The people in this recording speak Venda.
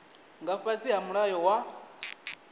nga fhasi ha mulayo wa